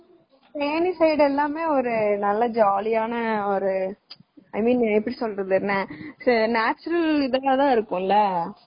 Theni side எல்லாமே நல்ல ஜாலியான ஒரு i mean எப்படி சொல்றது natural இதுவா இருக்கும்ல